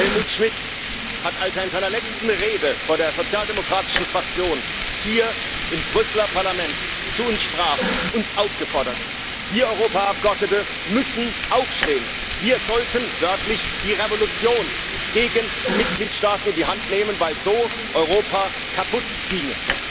Helmut Schmidt hat uns, als er in seiner letzten Rede vor der sozialdemokratischen Fraktion hier im Brüsseler Parlament zu uns sprach, uns aufgefordert Wir Europaabgeordnete müssen aufstehen, wir sollten wörtlich die Revolution gegen die Mitgliedstaaten in die Hand nehmen, weil so Europa kaputtginge.